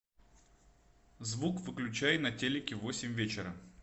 звук выключай на телике в восемь вечера